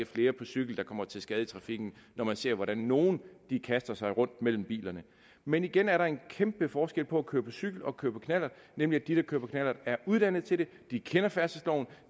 flere på cykel der kommer til skade i trafikken når man ser hvordan nogle kaster sig rundt mellem bilerne men igen er der en kæmpe forskel på at køre på cykel og køre på knallert nemlig at de der kører på knallert er uddannet til det de kender færdselsloven